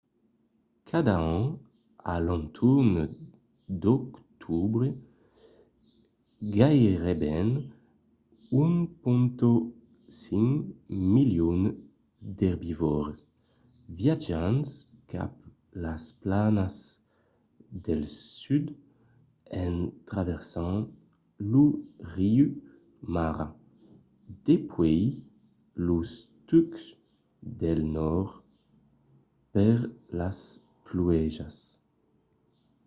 cada an a l’entorn d’octobre gaireben 1,5 milion d’erbivòrs viatjan cap a las planas del sud en traversant lo riu mara dempuèi los tucs del nòrd per las pluèjas